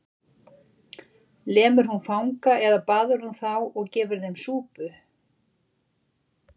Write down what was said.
Lemur hún fanga eða baðar hún þá og gefur þeim súpu?